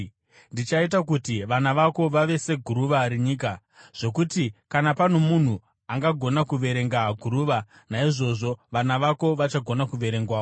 Ndichaita kuti vana vako vave seguruva renyika, zvokuti kana pano munhu angagona kuverenga guruva, naizvozvo vana vako vachagona kuverengwawo.